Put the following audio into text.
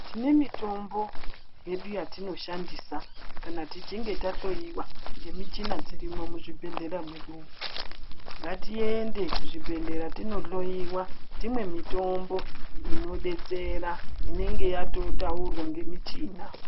Tine mitombo yedu yatinoshandisa kana tichinge tahloyiwa ngemichina dzirimo muzvibhehlera mwedumwo. Ngatiende kuzvibhehlera tinohloyiwa, timwe mitombo inodetsera, inenge yatotaurwa ngemichina.